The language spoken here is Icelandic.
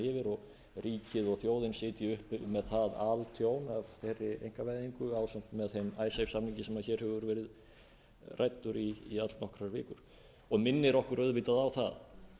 yfir og ríkið og þjóðin sitji upp með það altjón af þeirri einkavæðingu ásamt með þeim icesave samningi sem hér hefur verið ræddur í allnokkrar vikur og minnir okkur auðvitað á það